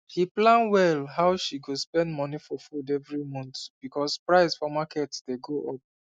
she plan well how she go spend money for food every month because price for market dey go up